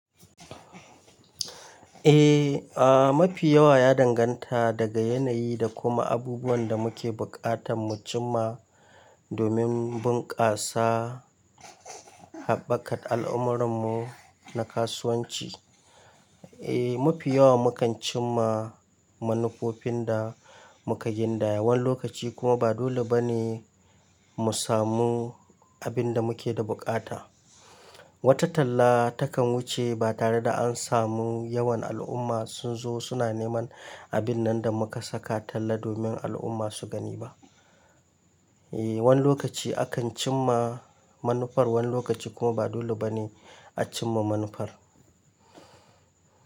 Eh, a mafi yawa ya danganta daga yanayi da kuma abubuwan da muke buƙatan mu cim ma domin bunƙasa haɓakar al'amuran mu na kasuwanci. Eh, mafi yawa mu kan cim ma manufofin da muka gindaya wani lokaci kuma ba dole ba ne mu samu abin da muke da buƙata. Wata talla takan wuce ba tare da an samu yawan al'umma sun zo suna neman abin nan da muka saka talla domin al'umma su gani ba. Eh, wani lokaci akan cim ma manufar, wani lokaci kuma ba dole ba ne a cim ma manufar.